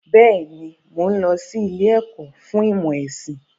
Bẹ́ẹ̀ni, mo n lọ sí ilé ẹ̀kọ́ fún ìmọ̀ ẹ̀sìn.